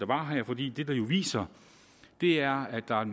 var her fordi det den viser er at der er